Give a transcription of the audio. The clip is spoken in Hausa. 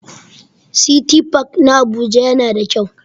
City park na Abuja yana da kyau.